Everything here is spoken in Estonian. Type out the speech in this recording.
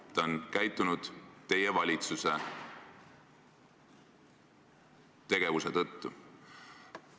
President on nii käitunud teie valitsuse tegevuse tõttu.